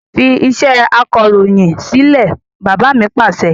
Fi iṣẹ́ akọròyìn sílẹ̀! Bàbá mi Pàṣẹ.